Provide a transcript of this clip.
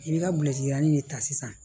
I bɛ ka bilɛri de ta sisan